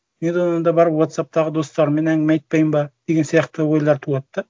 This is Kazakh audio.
енді одан да барып уотсапптағы достарыммен әңгіме айтпаймын ба деген сияқты ойлар туады да